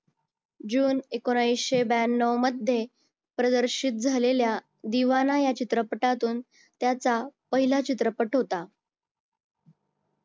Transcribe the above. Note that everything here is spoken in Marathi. जून एकोणविशे ब्यान्नव मध्ये प्रदर्शित झालेल्या दिवाना या चित्रपटातून त्याचा पहिला चित्रपट होता.